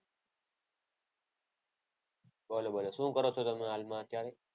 બોલો બોલો. શું કરો છો હાલમાં તમે અત્યારે?